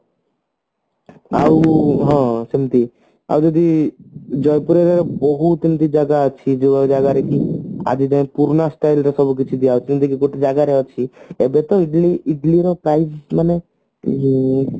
ହଁ ସେମତି ଆଉ ଯଦି ଜୟପୁରରେ ବହୁତ ଏମତି ଜାଗା ଅଛି ଯୋଉ ଜାଗାରେ କି ଆଜିଯାଏଁ ପୁରୁଣା style ରେ ସବୁ କିଛି ଦିଆଯାଉଛି ଯେମତିକି ଗୋଟେ ଜାଗାରେ ଅଛି ପ୍ରତ୍ୟକ ଦିନ ଇଡିଲି ର price ମାନେ ଉଁ